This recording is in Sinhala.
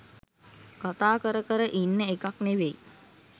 කතා කර කර ඉන්න එකක් නෙවෙයි